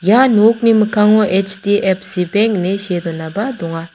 ia nokni mikkango H_D_F_C beng ine see donaba donga.